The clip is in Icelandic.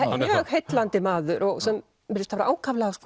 maður mjög heillandi maður og virðist hafa ákaflega